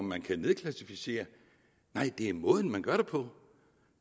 man kan nedklassificere nej det er måden man gør det på